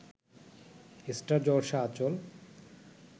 star Jalsha Anchal